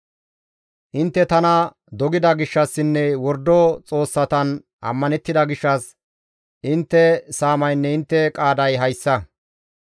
Intte tana dogida gishshassinne wordo xoossatan ammanettida gishshas intte saamaynne intte qaaday hayssa.